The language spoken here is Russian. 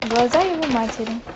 глаза его матери